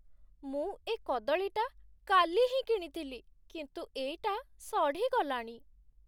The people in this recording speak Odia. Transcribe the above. ମୁଁ ଏ କଦଳୀଟା କାଲି ହିଁ କିଣିଥିଲି, କିନ୍ତୁ ଏଇଟା ସଢ଼ିଗଲାଣି ।